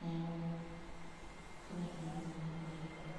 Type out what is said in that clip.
neaku kanyor nanu ntumoritin ormarei oleng.